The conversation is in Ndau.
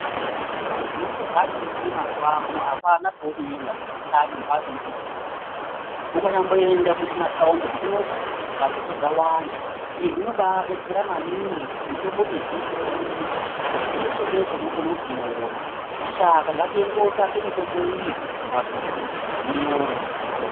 Nyangwe zvadini mazuwaano apana paunoenda panotame mphatso inoonekwe mitombo. Ukanyamboenda zvimathaundi zvidoko mphatsodzo dzawanda. Izvi zvinobaadetsera maningi ngekuti mitombo mizhinji yonyoreka, ngokuti peshe-peshe unokone kuiona. Shaka ngatiende kootsvake mitombo iyi, mumphatsodzo, tinoiona.